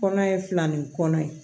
Kɔnɔ ye fila ni kɔnɔ ye